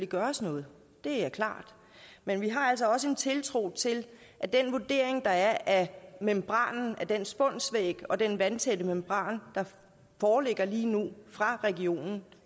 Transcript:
gøres noget det er klart men vi har altså også en tiltro til at den vurdering der er af membranen af den spunsvæg og den vandtætte membran der foreligger lige nu fra regionen